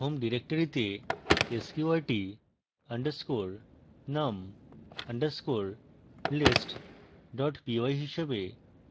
home directory তে sqrt _ num _ list py হিসাবে